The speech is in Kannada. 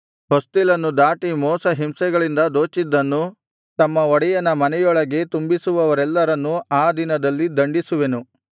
ಹೊಸ್ತಿಲನ್ನು ದಾಟಿ ಮೋಸ ಹಿಂಸೆಗಳಿಂದ ದೋಚಿದ್ದನ್ನು ತಮ್ಮ ಒಡೆಯನ ಮನೆಯೊಳಗೆ ತುಂಬಿಸುವವರೆಲ್ಲರನ್ನು ಆ ದಿನದಲ್ಲಿ ದಂಡಿಸುವೆನು